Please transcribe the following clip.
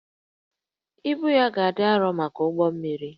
Ibu ya ga-adị arọ maka ụgbọ mmiri